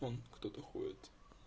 он кто-то ходит